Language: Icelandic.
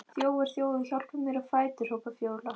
Þjófur, þjófur, hjálpið þið mér á fætur, hrópar Fjóla.